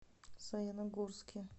саяногорске